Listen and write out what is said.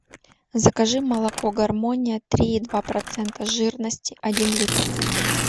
закажи молоко гармония три и два процента жирности один литр